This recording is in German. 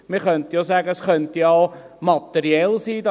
Man könnte ja auch sagen, es könnte auch materiell sein.